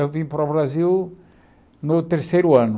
Eu vim para o Brasil no terceiro ano.